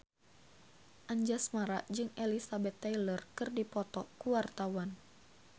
Anjasmara jeung Elizabeth Taylor keur dipoto ku wartawan